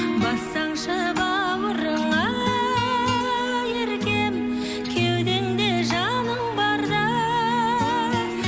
бассаңшы бауырыңа еркем кеудеңде жаның барда